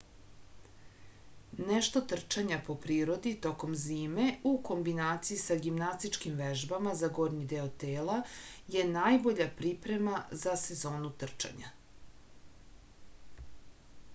nešto trčanja po prirodi tokom zime u kombinaciji sa gimnastičkim vežbama za gornji deo tela je najbolja priprema za sezonu trčanja